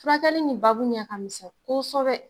Furakɛli ni baabu ɲɛ ka misɛn koosɛbɛ.